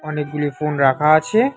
অনেকগুলি ফোন রাখা আছে।